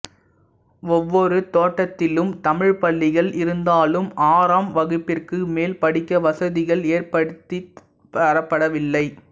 ஒவ்வொரு தோட்டத்திலும் தமிழ்ப்பள்ளிகள் இருந்தாலும் ஆறாம் வகுப்பிற்கு மேல் படிக்க வசதிகள் ஏற்படுத்தித் தரப்படவில்லை